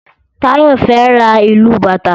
Tayo fè rá ilú bàtá